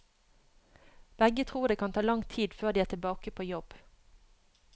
Begge tror det kan ta lang tid før de er tilbake på jobb.